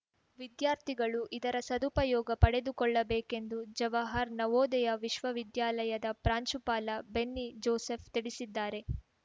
ವಿದ್ಯಾರ್ಥಿಗಳು ಇದರ ಸದುಪಯೋಗ ಪಡೆದುಕೊಳ್ಳಬೇಕೆಂದು ಜವಾಹರ್‌ ನವೋದಯ ವಿಶ್ವ ವಿದ್ಯಾಲಯದ ಪ್ರಾಂಶುಪಾಲ ಬೆನ್ನಿ ಜೋಸೆಫ್‌ ತಿಳಿಸಿದ್ದಾರೆ